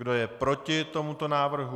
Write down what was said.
Kdo je proti tomuto návrhu?